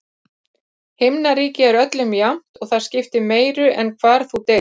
Himnaríki er öllum jafnt, og það skiptir meiru en hvar þú deyrð.